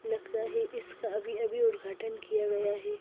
लगता है इसका अभी अभी उद्घाटन किया गया है।